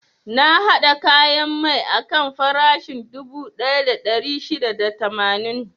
Na haɗa kayan mai akan farashin dubu ɗaya da ɗari shida da tamanin.